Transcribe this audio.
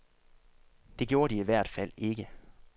Det gjorde de i hvert fald ikke.